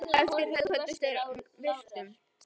Eftir þetta kvöddust þeir með virktum.